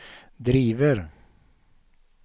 driver